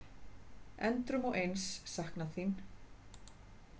Endrum og eins saknað þín.